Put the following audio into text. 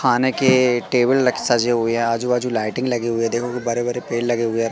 खाने के टेबल ल सजे हुए हैं आजू बाजू लाइटिंग लगे हुए देखो कि बड़े बड़े पेड़ लगे हुए हैं।